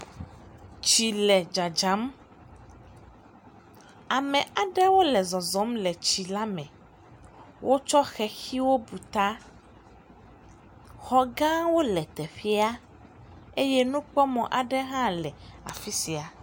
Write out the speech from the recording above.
Tsi le dzadzam, ame aɖewo le zɔzɔm le tsi la me, wotsɔ xexiwo bu ta, xɔ gãwo le teƒea eye nukpɔmɔ aɖewo hã le afi sia.